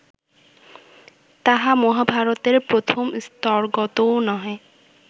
তাহা মহাভারতের প্রথম স্তরগতও নহে